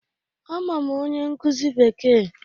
Ama m onye nkuzi Bekee